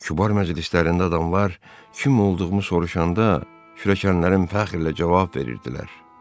Kübar məclislərində adamlar kim olduğumu soruşanda kürəkənlərim fəxrlə cavab verirdilər.